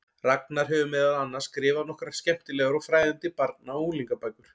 Ragnar hefur meðal annars skrifað nokkrar skemmtilegar og fræðandi barna- og unglingabækur.